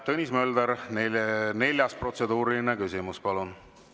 Tõnis Mölder, neljas protseduuriline küsimus, palun!